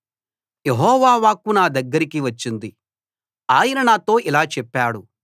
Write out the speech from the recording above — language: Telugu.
యెహోవా వాక్కు నా దగ్గరకి వచ్చింది ఆయన నాతో ఇలా చెప్పాడు